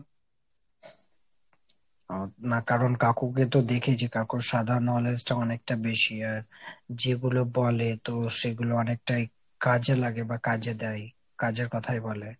ও না কারণ কাকুকে তো দেখেছি, কাকুর সাধারণ knowledge টা অনেকটা বেশি আর যেগুলো বলে তো সেগুলো অনেকটাই কাজে লাগে বা কাজে দেয়। কাজের কথাই বলে।